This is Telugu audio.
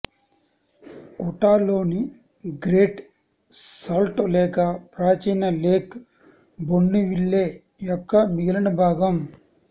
ఉటాలోని గ్రేట్ సాల్ట్ లేక్ ప్రాచీన లేక్ బోన్నేవిల్లే యొక్క మిగిలిన భాగం